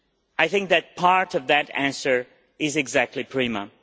I think that part of that answer is exactly PRIMA.